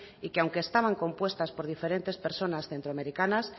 y que aunque estaban compuestas por diferentes personas centroamericanas